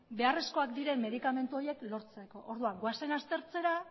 beharrezkoak diren medikamentu horiek lortzeko orduan goazen aztertzera